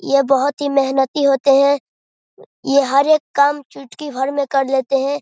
ये बहुत ही मेहनती होते हैं ये हर एक काम चुटकी भर में कर लेते हैं।